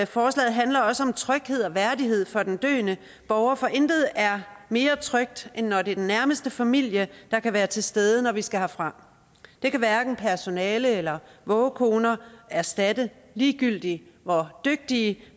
forslaget handler også om tryghed og værdighed for den døende borger for intet er mere trygt end når det er den nærmeste familie der kan være til stede når vi skal herfra det kan hverken personale eller vågekoner erstatte ligegyldigt hvor dygtigt